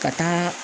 Ka taa